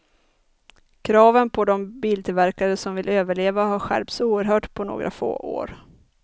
Kraven på de biltillverkare som vill överleva har skärpts oerhört på några få år.